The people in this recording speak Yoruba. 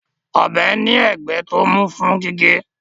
Ọ̀bẹ ní ẹ̀gbẹ́ tó mú fún gígé